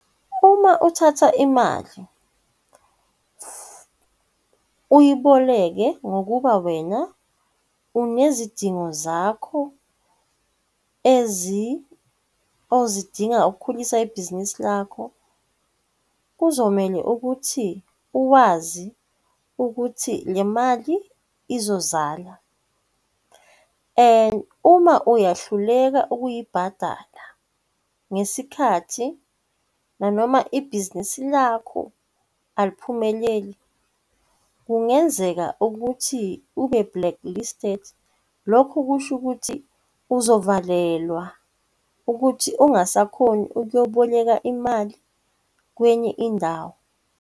Uma uthatha imali uyiboleke ngokuba wena inezidingo zakho ozidinga ukukhulisa ibhizinisi lakho, kuzomele ukuthi uwazi ukuthi le mali izozala, and uma uyahluleka ukuyibhadala ngesikhathi, nanoma ibhizinisi lakho aliphumeleli, kungenzeka ukuthi ube-blacklisted. Lokhu kusho ukuthi uzovalelwa ukuthi ungasakhoni ukuyoboleka imali kwenye indawo.